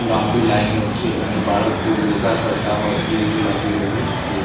લાંબી લાઇનો છે અને બાળકો યોગા કરતા હોય એવુ લાગી રહ્યુ છે.